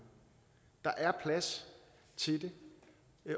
der er plads til det